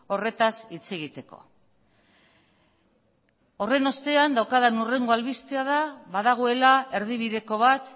horretaz hitz egiteko horren ostean daukadan hurrengo albistea da badagoela erdibideko bat